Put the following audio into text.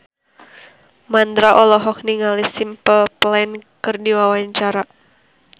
Mandra olohok ningali Simple Plan keur diwawancara